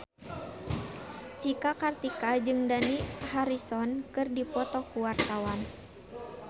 Cika Kartika jeung Dani Harrison keur dipoto ku wartawan